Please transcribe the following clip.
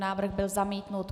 Návrh byl zamítnut.